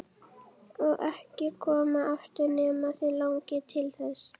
Og ekki koma aftur nema þig langi til þess.